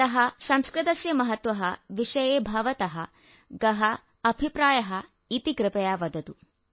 അതഃ സംസ്കൃതസ്യ മഹത്വഃ വിഷയേ ഭവതഃ ഗഹഃ അഭിപ്രായഃ ഇതി കൃപയാ വദതു